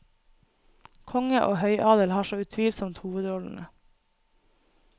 Konge og høyadel har så utvilsomt hovedrollene.